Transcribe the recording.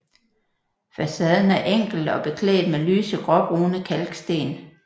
Facaden er enkel og er beklædt med lyse gråbrune kalksten